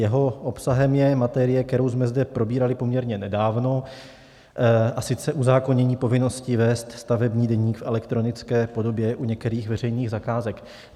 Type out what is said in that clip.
Jeho obsahem je materie, kterou jsme zde probírali poměrně nedávno, a sice uzákonění povinnosti vést stavební deník v elektronické podobě u některých veřejných zakázek.